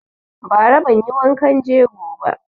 Ba ra banyi wankan jego ba